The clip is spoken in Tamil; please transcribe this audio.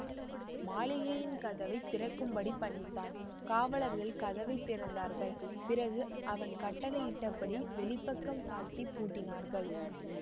மாளிகையின் கதவை திறக்கும்படிப் பணித்தான் காவலர்கள் கதவை திறந்தார்கள் பிறகு அவன் கட்டளையிட்டபடி வெளிப்பக்கம் சாத்திப் பூட்டினார்கள்